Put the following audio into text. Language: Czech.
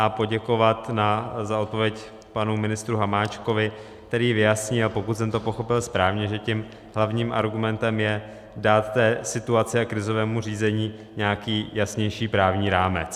A poděkovat za odpověď panu ministru Hamáčkovi, který vyjasní - a pokud jsem to pochopil správně, že tím hlavním argumentem je dát té situaci a krizovému řízení nějaký jasnější právní rámec.